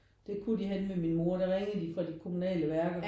Det kunne de henne ved min mor der ringede de fra de kommunale værker